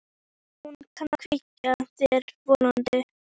Hún kann að kveikja þér vonina.